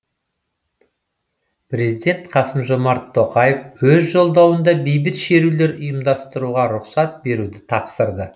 президент қасым жомарт тоқаев өз жолдауында бейбіт шерулер ұйымдастыруға рұқсат беруді тапсырды